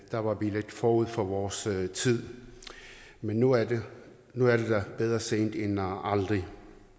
der var vi lidt forud for vores tid men nu er det der bedre sent end aldrig